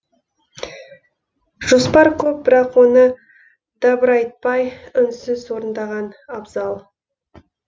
жоспар көп бірақ оны дабырайтпай үнсіз орындаған абзал